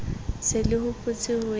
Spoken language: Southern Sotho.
se le hopotse ho ya